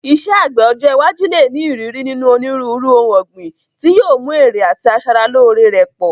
Iṣẹ́ àgbẹ̀ ọjọ́ iwájú lè ní ìrírí nínú onírúurú ohun ọ̀gbìn, tí yóò mú èrè àti asara lóore rẹ̀ pọ̀.